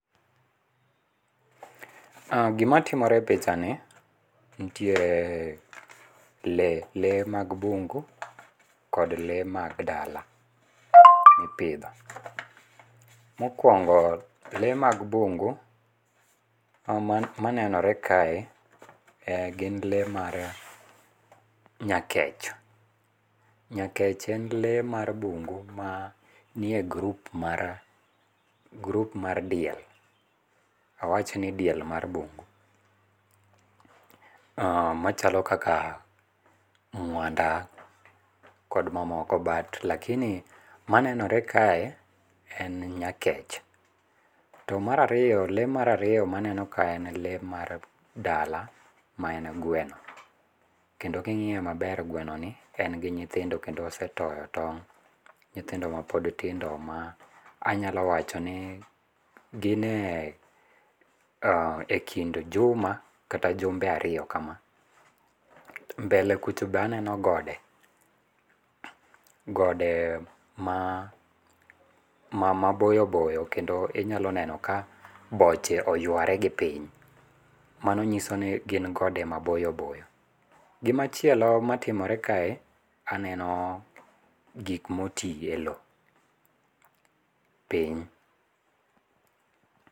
Gimatimore e pichani, nitiere lee lee mag bungu kod lee mag dala mipitho, mokuongo lee ma bungu manenore kae e gin lee mar nyakech. Nyakech en lee mag mbungu mar mie group mar group mar diel, awach ni diel mar mbungu machalo kaka mwanda kod mamoko but lakini manenore kae, en nyakech. To mar ariyo le mar ariyo manenore kae en le mar dala ma en gweno kendo king'iye maber gwenoni en gi nyithindo kendo osetoyo tong', nyothindo ma pod tindo ma anyalo wachoni ginie e kind juma kata jumbe ariyo kama, mbele kucho be aneno gode, gode ma maboyo boyo kendo inyalo neno ka boche oyware gi piny , nano nyiso ni gin gode maboyo boyo. Gimachielo matimore kae aneno gik motiye low piny